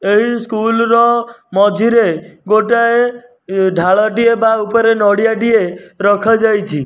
ଏହି ସ୍କୁଲ୍ ର ମଝିରେ ଗୋଟାଏ ଢାଳଟିଏ ବା ଉପରେ ନଡ଼ିଆଟିଏ ରଖାଯାଇଛି।